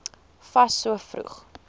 fas so vroeg